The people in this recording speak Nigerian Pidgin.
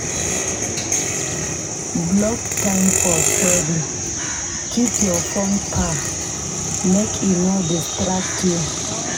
Block time for study, keep your phone far make e no distract you.